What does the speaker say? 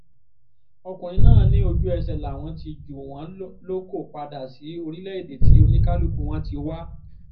ọkùnrin náà ní ojú-ẹsẹ̀ làwọn ti jù wọ́n lóko padà sí orílẹ̀‐èdè tí oníkálùkù wọn ti wá